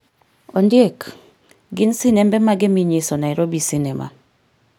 Ondiek gin sinembe mage minyiso Nairobi cinema